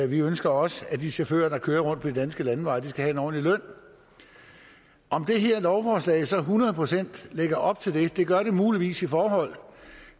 vi ønsker også at de chauffører der kører rundt på de danske landeveje skal have en ordentlig løn om det her lovforslag så hundrede procent lægger op til det ikke det gør det muligvis i forhold